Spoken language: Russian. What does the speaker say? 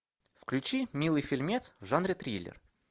включи милый фильмец в жанре триллер